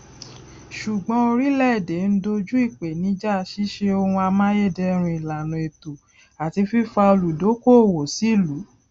ṣùgbọn oríléèdè ń doju ìpènijà ṣíṣe ohun amáyédẹrùn ìlàna ètò àti fífa olùdókóòwò sílùú